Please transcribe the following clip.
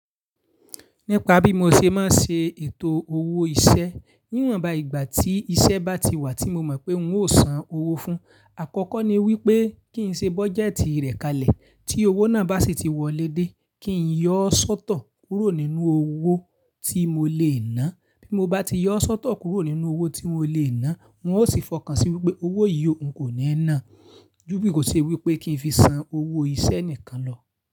Nípa bí mo ṣe máa ṣe ètò owó iṣẹ́ níwọ̀nba ìgbà tí iṣẹ́ bá ti wà tí mo mọ̀ pé ń ó san owó fún, àkọ́kọ́ ni wípé kí ń ṣe bọ́jẹ́tì rẹ̀ kalẹ̀. Tí owó náà bá sì ti wọlé dé, kí ń yọ́ sọ́tọ̀ kúrò nínú owó tí mo lè ná. Bí mo bá ti yọ sọ́tọ̀ kúrò nínú owó tí mo lè ná, ń ó sì fọkàn sí wípé owó yìí ń kò ní ẹ́ ná. Júbì kò ṣe wípé kí ń fi san owó iṣẹ́ nìkan lọ.